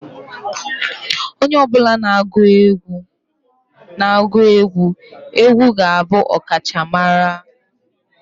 Onye ọ bụla na-egwu egwu egwu ga-abụ ọkachamara